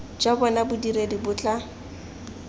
jwa bona bodiredi bo tla